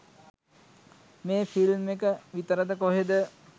මේ ෆිල්ම් එක විතරද කොහෙද